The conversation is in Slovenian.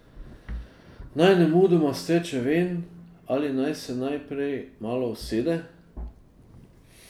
Naj nemudoma steče ven ali naj se najprej malo usede?